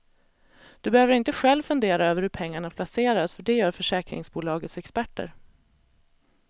Du behöver inte själv fundera över hur pengarna placeras för det gör försäkringsbolagets experter.